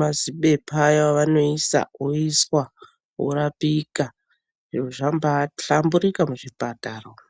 mazibepa aya avanoisa aya, woiswa., worapika. Zvabahlamburika muzvipatara umu.